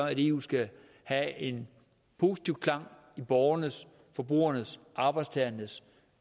at eu skal have en positiv klang i borgernes forbrugernes og arbejdstagernes